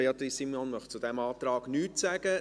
Beatrice Simon möchte zu diesem Antrag nichts sagen.